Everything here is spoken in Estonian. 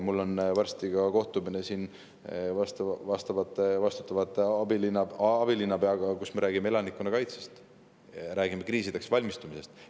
Mul on varsti ka vastutava abilinnapeaga kohtumine, kus me räägime elanikkonnakaitsest ja kriisideks valmistumisest.